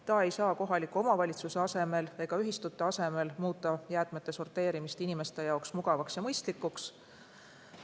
Ta ei saa kohaliku omavalitsuse ega ühistute asemel muuta jäätmete sorteerimist inimeste jaoks mugavaks ja mõistlikuks.